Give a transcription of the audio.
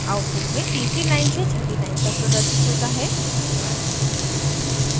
output में तीसरी line से छठी line तक प्रदर्शित hota है